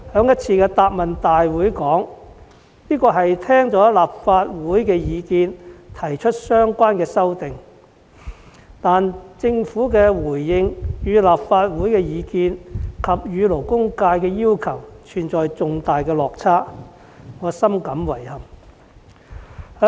在一次行政長官答問會中，特首說相關修訂是聽取立法會的意見而提出的，但政府的回應與立法會的意見及勞工界的要求存在重大落差，令我深感遺憾。